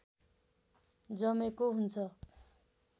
जमेको हुन्छ